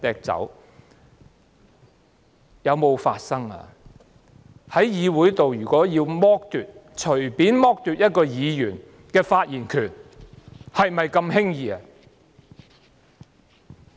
在議會內隨便剝奪一個議員的發言權，是否那麼輕易的呢？